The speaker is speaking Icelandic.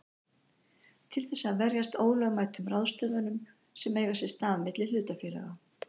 til þess að verjast ólögmætum ráðstöfunum sem eiga sér stað milli hlutafélaga.